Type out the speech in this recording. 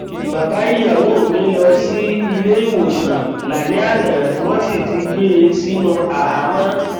bàbá ìyàwó mi lọ sí ilé ìwòsàn lálẹ àná wọn sì ti gbé e sínú àhámọ